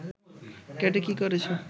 কেটে কী করেছে